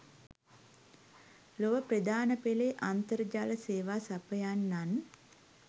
ලොව ප්‍රධානපෙලේ අන්තර්ජාල සේවා සපයන්නන්